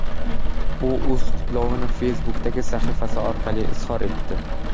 U o‘z qutlovini Facebook’dagi sahifasi orqali izhor etdi .